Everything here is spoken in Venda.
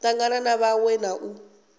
tangana na vhaṅwe na u